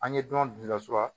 An ye dɔn bilasira